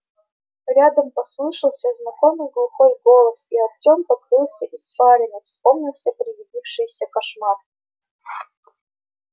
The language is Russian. рядом послышался знакомый глухой голос и артём покрылся испариной вспомнился привидевшийся кошмар